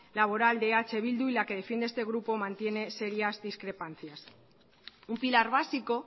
laboral de eh bildu y la que defiende este grupo mantiene serías discrepancias un pilar básico